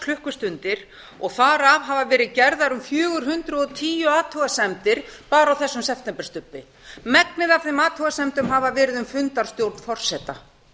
klukkustundir og þar af hafa verið gerðar um fjögur hundruð og tíu athugasemdir bara á þessum septemberstubbi megnið af þeim athugasemdum hafa verið um fundarstjórn forseta